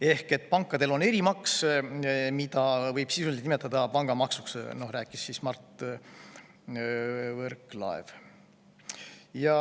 Ehk pankadel on erimaks, mida võib sisuliselt nimetada pangamaksuks, rääkis Mart Võrklaev.